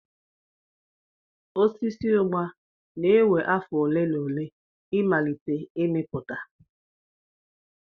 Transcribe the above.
Osisi Ugba na-ewe afọ ole na ole ịmalite ịmịpụta.